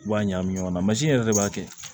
I b'a ɲagami ɲɔgɔn na yɛrɛ de b'a kɛ